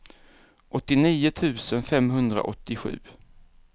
åttionio tusen femhundraåttiosju